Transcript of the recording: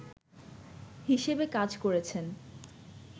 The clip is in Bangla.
হিসেবে কাজ করেছেন